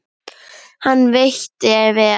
Hann veitti vel